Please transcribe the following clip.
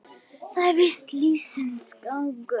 Það er víst lífsins gangur.